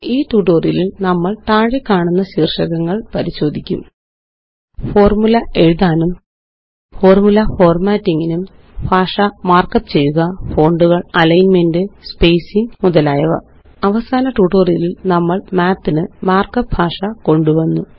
ഈ ട്യൂട്ടോറിയലില് നമ്മള് താഴെക്കാണുന്ന ശീര്ഷകങ്ങള് പരിശോധിക്കും ഫോര്മുല എഴുതാനും ഫോര്മുല ഫോര്മാറ്റിംഗിനും ഭാഷ മാര്ക്കപ്പ് ചെയ്യുക ഫോണ്ടൂകള് അലൈന്മെന്റ് സ്പേസിംഗ് മുതലായവ അവസാന ട്യൂട്ടോറിയലില് നമ്മള് മാത്ത് ന് മകര്ക്കപ്പ് ഭാഷ കൊണ്ടുവന്നു